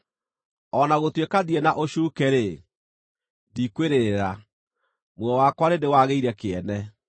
“O na gũtuĩka ndirĩ na ũcuuke-rĩ, ndikwĩrĩrĩra; muoyo wakwa nĩndĩwagĩire kĩene.